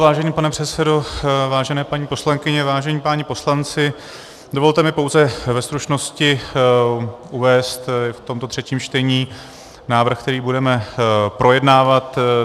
Vážený pane předsedo, vážené paní poslankyně, vážení páni poslanci, dovolte mi pouze ve stručnosti uvést v tomto třetím čtení návrh, který budeme projednávat.